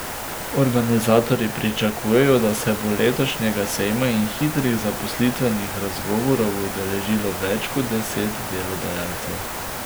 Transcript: Organizatorji pričakujejo, da se bo letošnjega sejma in hitrih zaposlitvenih razgovorov udeležilo več kot deset delodajalcev.